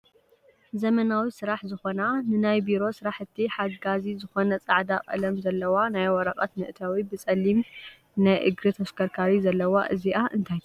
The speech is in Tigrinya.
ዘመናዊ ስራሕ ዝኮና ንናይ ቢሮ ስረሕቲ ሓጋዚ ዝኮነ ፃዕዳ ቀለም ዘለዋ ናይ ወረቀት መእተዊ ብፀሊም ናይ እግሪ ተሽከርካሪ ዘለዋ እዚኣ እንተይ ትበሃል ?